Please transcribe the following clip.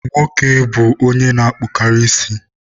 Nwoke bụ onye na-akpụkarị isi.